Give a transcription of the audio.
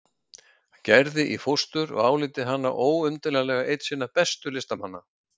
Gerði í fóstur og álíti hana óumdeilanlega einn sinna bestu listamanna.